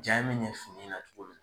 Ja in mi ɲɛ fini na cogo min na